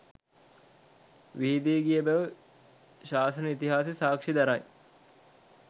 විහිදී ගිය බැව් ශාසන ඉතිහාසය සාක්ෂි දරයි.